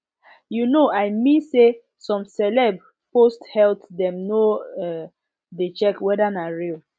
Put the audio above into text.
you know i mean say some celeb post health dem no um dey check weda na real